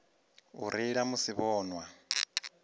u reila musi vho nwa